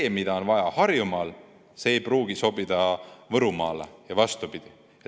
See, mida on vaja Harjumaal, ei pruugi sobida Võrumaale ja vastupidi.